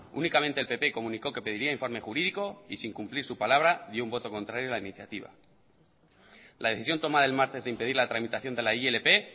únicamente el pp comunicó que pediría informe jurídico y sin cumplir su palabra dio un voto contrario a la iniciativa la decisión tomada el martes de impedir la tramitación de la ilp